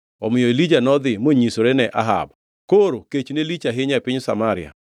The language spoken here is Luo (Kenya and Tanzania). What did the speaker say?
Omiyo Elija nodhi monyisore ne Ahab. Koro kech ne lich ahinya e piny Samaria,